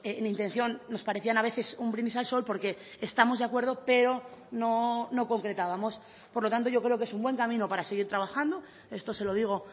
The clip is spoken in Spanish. en intención nos parecían a veces un brindis al sol porque estamos de acuerdo pero no concretábamos por lo tanto yo creo que es un buen camino para seguir trabajando esto se lo digo